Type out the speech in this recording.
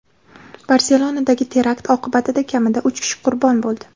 Barselonadagi terakt oqibatida kamida uch kishi qurbon bo‘ldi.